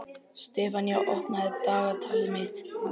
Sefanía, opnaðu dagatalið mitt.